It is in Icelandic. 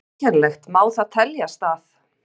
En sérkennilegt má það teljast að